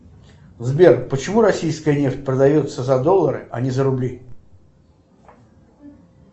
сбер почему российская нефть продается за доллары а не за рубли